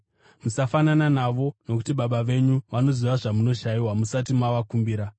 Musafanana navo nokuti Baba venyu vanoziva zvamunoshayiwa musati mavakumbira.